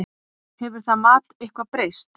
Hefur það mat eitthvað breyst?